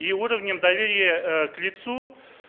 и уровнем доверия к лицу